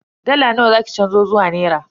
Dala nawa za ki canzo zuwa naira?